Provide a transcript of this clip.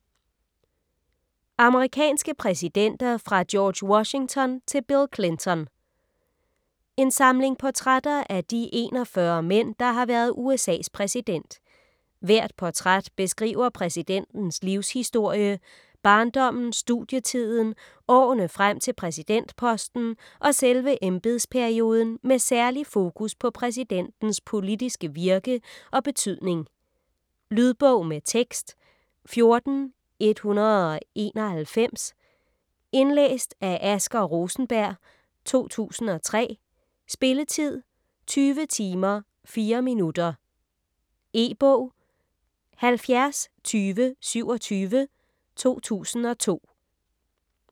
Amerikanske præsidenter fra George Washington til Bill Clinton En samling portrætter af de 41 mænd, der har været USAs præsident. Hvert portræt beskriver præsidentens livshistorie: barndommen, studietiden, årene frem til præsidentposten og selve embedsperioden med særlig fokus på præsidentens politiske virke og betydning. Lydbog med tekst 14191 Indlæst af Asger Rosenberg, 2003. Spilletid: 20 timer, 4 minutter. E-bog 702027 2002.